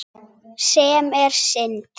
Sem er synd.